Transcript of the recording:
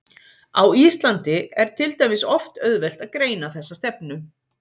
Á Íslandi er til dæmis oft auðvelt að greina þessa stefnu.